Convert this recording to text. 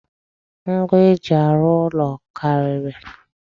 Ngwa eji arụ ụlọ karịrị.